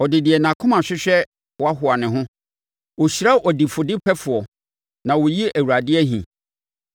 Ɔde deɛ nʼakoma hwehwɛ hoahoa ne ho; ɔhyira ɔdifodepɛfoɔ, na ɔyi Awurade ahi.